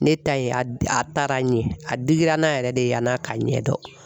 Ne ta ye a taara ɲɛ a digira n na yɛrɛ de yann'a ka ɲɛdɔn.